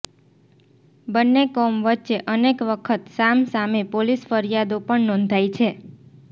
બંન્ને કોમ વચ્ચે અનેક વખત સામ સામે પોલીસ ફરીયાદો પણ નોંધાઇ છે